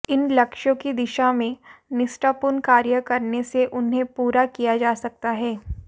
इन लक्ष्यों की दिशा में निष्ठापूर्ण कार्य करने से इन्हें पूरा किया जा सकता है